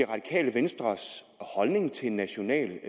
radikale venstres holdning til en national